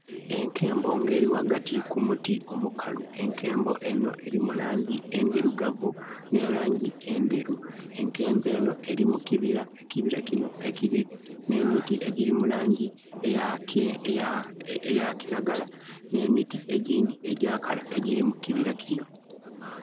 Enkembo ng'eli ghagati ku muti omukalu. Enkembo enho eli mu laangi endhirugavu ne laangi endheru. Enkembo enho eli mu kibira. Ekibira kino ekili n'emiti egiri mu laangi eya kiragala, n'emiti egyindhi egya kala egyiri mu kibira kino.